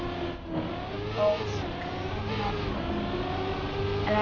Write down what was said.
Að ósk hennar muni rætast.